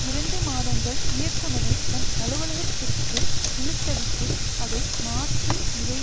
இரண்டு மாதங்கள் இயக்குனரை தன் அலுவலகத்திற்கு இழுத்தடித்து அதை மாற்று இதை